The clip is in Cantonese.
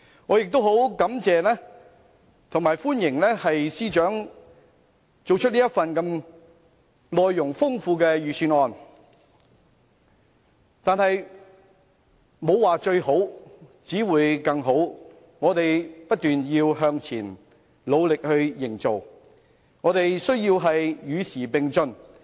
我亦很感謝和歡迎司長編寫這份內容豐富的預算案，但是，"沒有最好，只有更好"，我們要不斷向前，努力建設，與時並進。